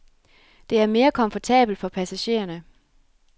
Det er mere komfortabelt for passagererne.